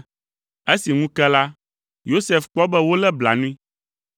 Esi ŋu ke la, Yosef kpɔ be wolé blanui.